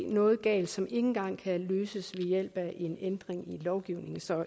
noget galt som ikke engang kan løses ved hjælp af en ændring i lovgivningen så